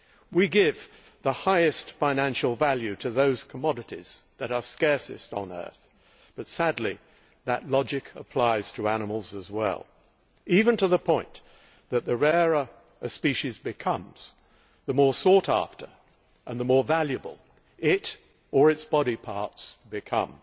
We give the highest financial value to those commodities that are scarcest on earth, but sadly that logic applies to animals as well even to the point that the rarer a species becomes, the more sought after and the more valuable it or its body parts become.